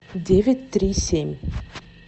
девять три семь